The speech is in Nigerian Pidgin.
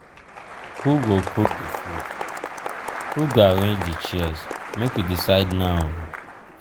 who go cook di food? who go arrange di chairs? make we decide now o.